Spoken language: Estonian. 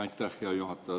Aitäh, hea juhataja!